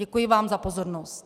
Děkuji vám za pozornost.